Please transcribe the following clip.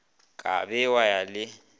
ka be wa ya le